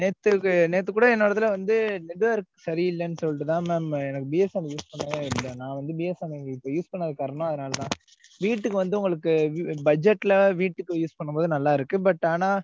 நேத்து, நேத்து கூட என்ன ஒரு தடவ வந்து network சரி இல்லன்னு சொல்லிட்டு தான் mam எனக்கு BSNL use பண்ணவே இல்ல நான் வந்து BSNL use பண்ணதுக்கு காரணம் அதனால தான் வீட்டுக்கு வந்து உங்களுக்கு பட்ஜெட்ல வீட்டுக்கு use பண்ணும் போது நல்லா இருக்கு but ஆனா